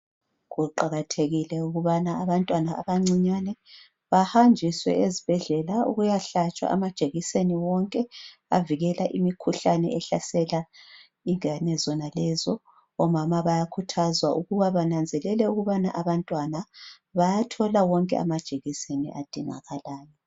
Kuqakathekile ukuthi abantwana abancane bahanjiswe ezibhedlela ukuyahlatshwa amajekiseni abavikela imikhuhlane ehlasela abantwana labo ,omama bayakhuthazwa ukuba babone ukuthi abantwana bayathola amajekiseni wonke adingakalayo.